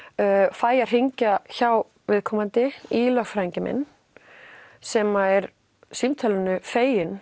fæ að hringja hjá viðkomandi í lögfræðinginn minn sem er símtalinu feginn